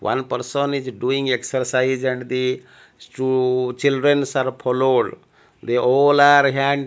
one person is doing exercise and the chu childrens are followed they all are hand --